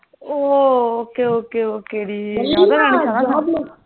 oh okay okay okay D